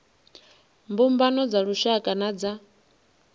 mbumbano dza lushaka na dza